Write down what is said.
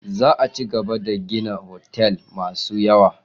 Za a cigaba da gina otal masu yawa.